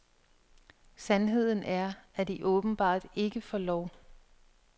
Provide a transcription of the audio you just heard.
Sandheden er, at de åbenbart ikke får lov.